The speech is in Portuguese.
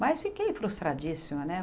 Mas fiquei frustradíssima, né?